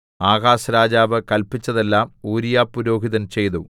Ahaz രാജാവ് കല്പിച്ചതെല്ലാം ഊരീയാപുരോഹിതൻ ചെയ്തു